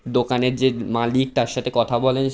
দোকানের যে উম মালিক তার সাথে কথা বলে--